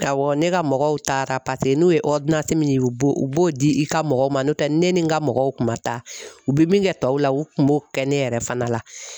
Awɔ ne ka mɔgɔw taara paseke n'u ye min ye u b'o u b'o di i ka mɔgɔw ma n'o tɛ ne ni n ka mɔgɔw kun ma taa u bɛ min kɛ tɔw la u kun b'o kɛ ne yɛrɛ fana la